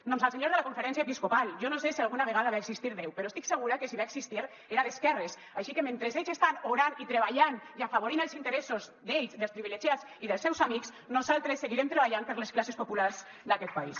doncs al senyor de la conferència episcopal jo no sé si alguna vegada va existir déu però estic segura que si va existir era d’esquerres així que mentre ells estan orant i treballant i afavorint els interessos d’ells dels privilegiats i dels seus amics nosaltres seguirem treballant per les classes populars d’aquest país